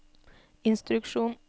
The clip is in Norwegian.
instruksjon